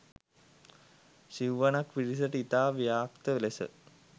සිව්වනක් පිරිසට ඉතා ව්‍යක්ත ලෙස